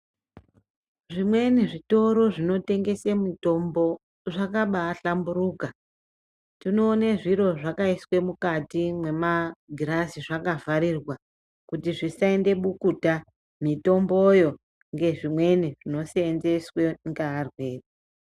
Zvimweni zvitoro zvinotengese mitombo zvakabahlamburuka, tinoone zviro zvakaiswe mukati mwemagirazi zvakavharirwa kuti zvisaende bukuta mitomboyo ngezvimweni zvinoseenzeswe ngearwere.